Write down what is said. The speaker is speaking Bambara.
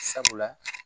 Sabula